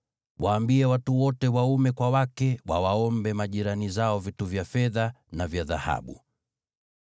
Waambie watu wote waume kwa wake wawaombe majirani zao vitu vya fedha na vya dhahabu.”